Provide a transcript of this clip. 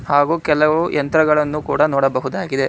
ಹಾಗು ಕೆಲವು ಯಂತ್ರಗಳನ್ನು ಕೂಡ ನೋಡಬಹುದಾಗಿದೆ.